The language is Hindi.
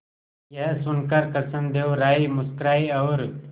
यह सुनकर कृष्णदेव राय मुस्कुराए और